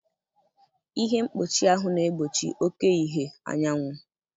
Ihe mkpuchi ahụ na-egbochi oke ìhè anyanwụ.